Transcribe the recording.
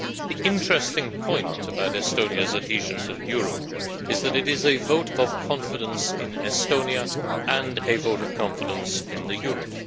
The interesting point about Estonia's adhesion to the euro is that it is a vote of confidence in Estonia and a vote of confidence in the euro.